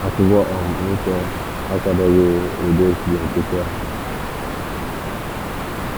Akwụkwọ um nsọ akwadoghi ụdị echiche nkịtị ahu.